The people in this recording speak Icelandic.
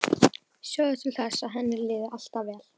Sjá til þess að henni liði alltaf vel.